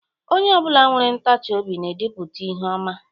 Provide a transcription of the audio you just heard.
Onye obula nwere ntachi obi na-edipulta ihe oma.